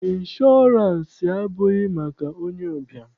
Ịnshọọransị abụghị maka onye ụbịam